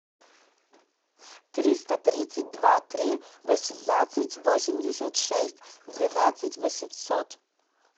триста тридцать два три восемнадцать восемьдесят шесть двенадцать восемьсот